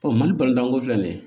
mali bantanko filɛ nin ye